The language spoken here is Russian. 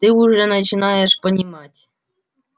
ты уже начинаешь понимать